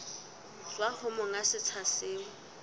tswa ho monga setsha seo